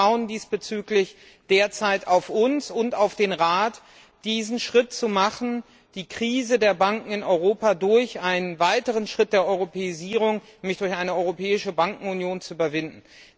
Die Augen schauen diesbezüglich derzeit auf uns und auf den Rat, diesen Schritt zu tun, die Krise der Banken in Europa durch einen weiteren Schritt der Europäisierung, nämlich durch eine europäische Bankenunion, zu überwinden.